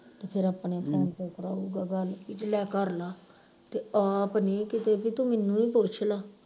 ਤੇ ਫਿਰ ਆਪਣੇ phone ਤੋਂ ਕਰਾਉਗਾ ਗੱਲ ਬਈ ਜੇ ਲੈ ਕਰਲਾ ਤੇ ਆਪ ਨਹੀਂ ਕਿਤੇ ਬਈ ਤੂੰ ਮੈਨੂੰ ਈ ਪੁੱਛਲਾ